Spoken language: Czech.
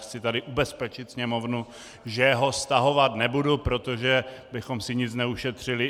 Chci tady ubezpečit Sněmovnu, že ho stahovat nebudu, protože bychom si nic neušetřili.